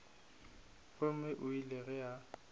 gomme o ile ge a